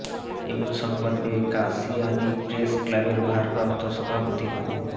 এমন সংবাদ পেয়ে কাশিয়ানী প্রেস ক্লাবের ভারপ্রাপ্ত সভাপতি মো